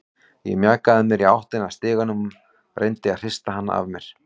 Ég mjakaði mér í áttina að stiganum, reyndi að hrista hana af mér.